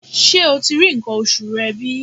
Ṣé o ti rí nǹkan oṣù rẹ bí?